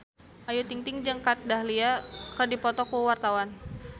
Ayu Ting-ting jeung Kat Dahlia keur dipoto ku wartawan